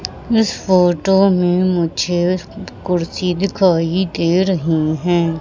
इस फोटो में मुझे कुर्सी दिखाई दे रही है।